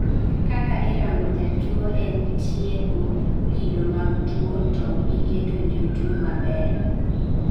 kaka irango jatuwo en tieko kido mag tuwo to gi keto jotuwo maber